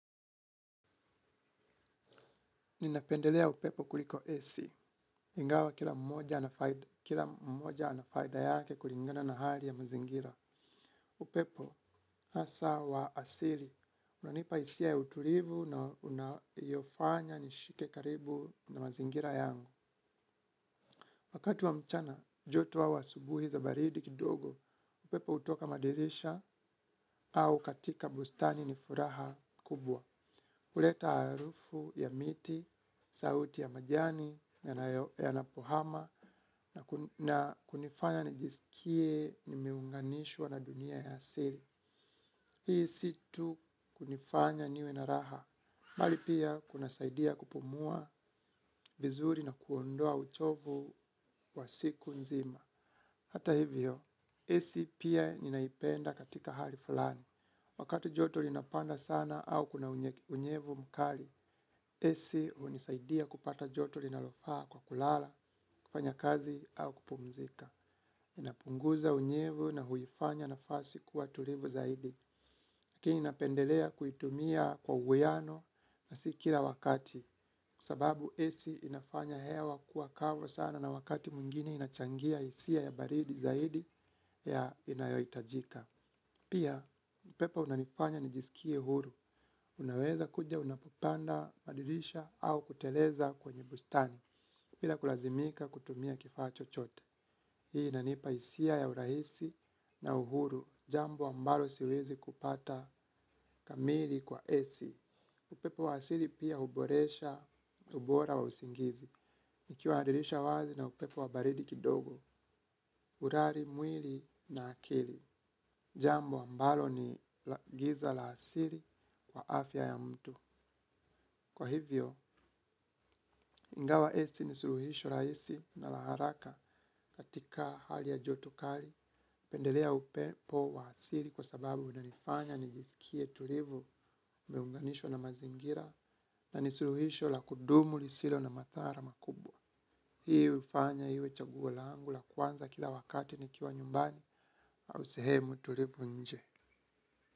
Ninapendelea upepo kuliko ac, ingawa kila mmoja ana faida yake kulingana na hali ya mazingira. Upepo, hasa wa asili, unanipa hisia ya utulivu na unayofanya nishike karibu na mazingira yangu. Wakati wa mchana, joto au asubuhi za baridi kidogo, upepo hutoka madirisha au katika bustani ni furaha kubwa. Huleta harufu ya miti, sauti ya majani, yanapohama, na kunifanya nijisikie nimeunganishwa na dunia ya asili. Hii si tu kunifanya niwe na raha. Bali pia kunasaidia kupumua vizuri na kuondoa uchovu wa siku nzima. Hata hivyo, ac pia ninaipenda katika hali falani. Wakati joto linapanda sana au kuna unyevu mkali. Ac hunisaidia kupata joto linalofaa kwa kulala, kufanya kazi au kupumzika. Inapunguza unyevu na huifanya nafasi kuwa tulivu zaidi. Lakini napendelea kuitumia kwa uwiano na si kila wakati. Sababu ac inafanya hewa kuwa kavu sana na wakati mwingine inachangia hisia ya baridi zaidi ya inayohitajika. Pia, upepo unanifanya nijisikie huru. Unaweza kuja unapopanda madirisha au kuteleza kwenye bustani, bila kulazimika kutumia kifaa chochote. Hii inanipa hisia ya urahisi na uhuru, jambo ambalo siwezi kupata kamili kwa ac. Upepo wa asili pia huboresha, ubora wa usingizi. Nikiwa na dirisha wazi na upepo wa baridi kidogo, urari, mwili na akili. Jambo ambalo ni giza la asili kwa afya ya mtu. Kwa hivyo, ingawa ac ni suluhisho rahisi na la haraka katika hali ya joto kali. Pendelea upepo wa asili kwa sababu unanifanya nijisikie tulivu umeunganishwa na mazingira na ni suluhisho la kudumu lisilo na madhara makubwa. Hii hufanya iwe chaguo langu la kwanza kila wakati nikiwa nyumbani au sehemu tulivu nje.